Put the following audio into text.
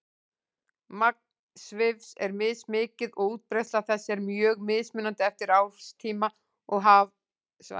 Magn svifs er mismikið og útbreiðsla þess er mjög mismunandi eftir árstíma og hafsvæðum.